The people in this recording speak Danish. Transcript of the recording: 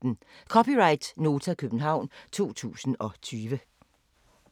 (c) Nota, København 2020